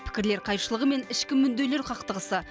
пікірлер қайшылығы мен ішкі мүдделер қақтығысы